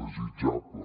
desitjable